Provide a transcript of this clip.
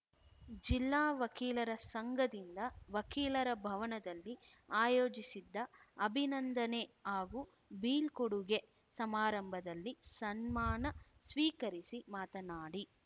ಜಿಲ್ಲಾ ವಕೀಲರ ಸಂಘದಿಂದ ವಕೀಲರ ಭವನದಲ್ಲಿ ಆಯೋಜಿಸಿದ್ದ ಅಭಿನಂದನೆ ಹಾಗೂ ಬೀಳ್ಕೊಡುಗೆ ಸಮಾರಂಭದಲ್ಲಿ ಸನ್ಮಾನ ಸ್ವೀಕರಿಸಿ ಮಾತನಾಡಿ